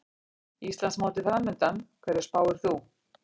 Íslandsmótið framundan, hverju spáir þú?